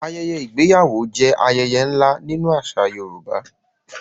Ayẹyẹ ìgbéyàwó jẹ́ ayẹyẹ ńlá nínú àṣà Yorùbá.